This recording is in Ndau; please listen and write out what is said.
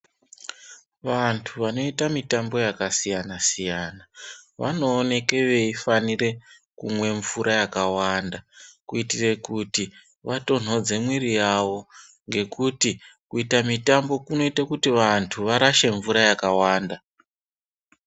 Vantu vanoita mitambo yakasiyana siyana vanooneka veifanira kumwe mvura yakawanda kuitira kuti vatonhodze mwiri yavo ngekuti kuita mitambo kunoita kuti vantu varashe mvura yakawanda.